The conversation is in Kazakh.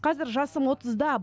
қазір жасым отызда